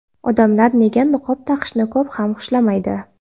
Odamlar nega niqob taqishni ko‘p ham xushlamaydi?.